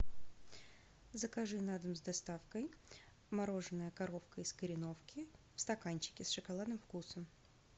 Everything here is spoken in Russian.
закажи на дом с доставкой мороженое коровка из кореновки в стаканчике с шоколадным вкусом